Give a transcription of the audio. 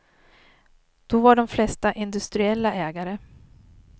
Då var de flesta industriella ägare.